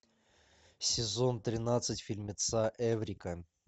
сезон тринадцать фильмеца эврика